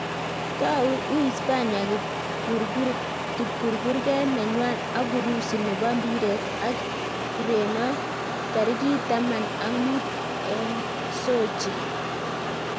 Tau Uhispania kipkurkurget nenywa ak Urusi nebo mbiret ak Ureno tarik taman ak mut eng sochi